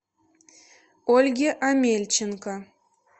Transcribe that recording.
ольге омельченко